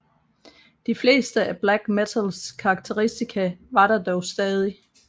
De fleste af black metals karakteristika var der dog stadig